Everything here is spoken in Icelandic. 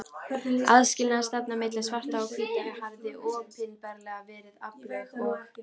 Aðskilnaðarstefnan milli svartra og hvítra hafði opinberlega verið aflögð og